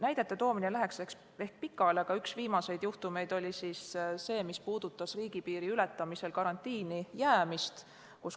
Näidete toomine läheks ehk pikale, aga üks viimaseid juhtumeid oli see, mis puudutas riigipiiri ületamisel karantiini jäämist.